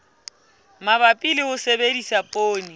mabapi le ho sebedisa poone